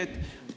Aitäh!